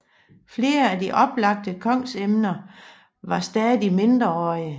Flere af de oplagte kongsemner var stadig mindreårige